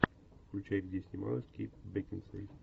включай где снималась кейт бекинсейл